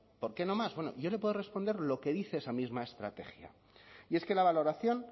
por qué no más yo le puedo responder lo que dice esa misma estrategia y es que la valoración